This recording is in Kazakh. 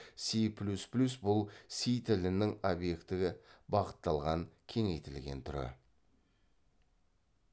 си плюс плюс бұл си тілінің объектігі бағытталған кеңейтілген түрі